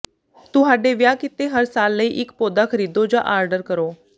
ਤੁਹਾਡੇ ਵਿਆਹ ਕੀਤੇ ਗਏ ਹਰ ਸਾਲ ਲਈ ਇਕ ਪੌਦਾ ਖਰੀਦੋ ਜਾਂ ਆਰਡਰ ਕਰੋ